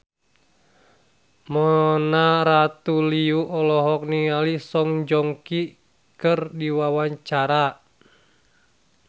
Mona Ratuliu olohok ningali Song Joong Ki keur diwawancara